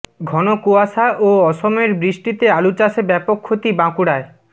ঘন কুয়াশা ও অসময়ের বৃষ্টিতে আলুচাষে ব্যাপক ক্ষতি বাঁকুড়ায়